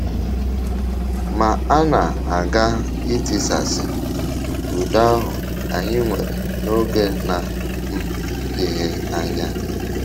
Ma a na - aga itisasị um udo ahụ anyị nwere n’oge na um - adịghị anya.